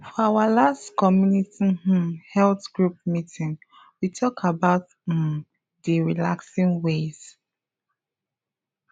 for our last community um health group meeting we talk about um d relaxing ways